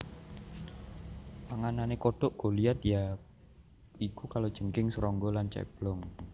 Panganane kodhok goliath ya iku kalajengking serangga lan ceblong